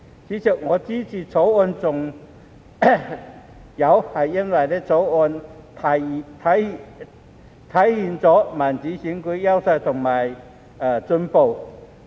主席，我支持《條例草案》還因《條例草案》體現民主選舉的優化和進步。